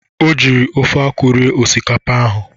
O jiri ofe akwụ rie osikapa ahụ.